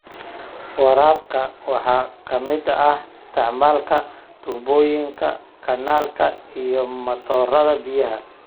Waraabka waxaa ka mid ah isticmaalka tubooyinka, kanaalka, iyo matoorada biyaha.